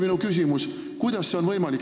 Minu küsimus ongi, kuidas see on võimalik.